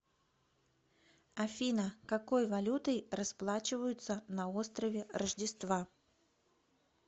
афина какой валютой расплачиваются на острове рождества